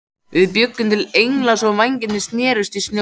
Við bjuggum til engla svo vængirnir snertust í snjónum.